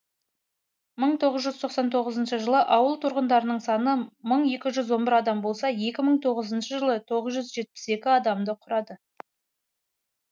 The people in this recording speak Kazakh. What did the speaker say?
мың тоғыз жүз тоқсан тоғызыншы жылы ауыл тұрғындарының саны мың екі жүз он бір адам болса екі мың тоғызыншы жылы тоғыз жүз жетпіс екі адамды құрады